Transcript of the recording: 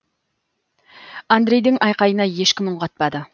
андрейдің айқайына ешкім үн қатпады